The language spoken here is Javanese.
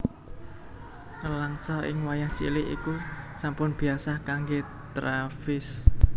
Nèlangsa ing wayah cilik iku sampun biyasa kanggé Travis